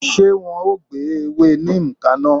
Ṣé wọn o gbé ewé neem kaná?